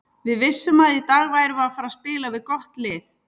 Við vissum að í dag værum við að fara spila við gott lið.